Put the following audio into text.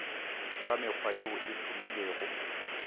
ka mekgwa yeo e hlomilwego